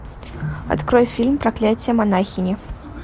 открой фильм проклятие монахини